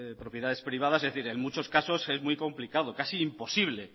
propiedades privadas es decir en muchos casos es muy complicado casi imposible